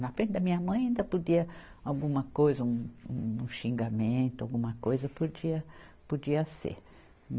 Na frente da minha mãe ainda podia alguma coisa, um um xingamento, alguma coisa, podia podia ser.